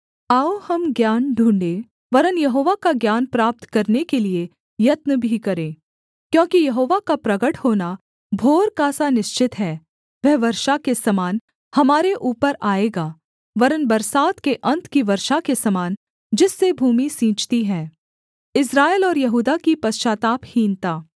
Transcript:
आओ हम ज्ञान ढूँढ़े वरन् यहोवा का ज्ञान प्राप्त करने के लिये यत्न भी करें क्योंकि यहोवा का प्रगट होना भोर का सा निश्चित है वह वर्षा के समान हमारे ऊपर आएगा वरन् बरसात के अन्त की वर्षा के समान जिससे भूमि सींचती है